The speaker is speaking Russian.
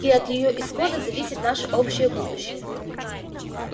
и от её исхода зависит наше общее будущее